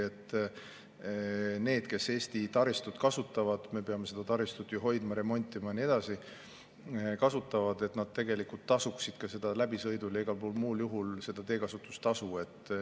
Nimelt, et need, kes Eesti taristut kasutavad – me peame seda taristut ju hoidma, remontima ja nii edasi –, ka tegelikult tasuvad läbisõidul ja igal muul juhul teekasutustasu.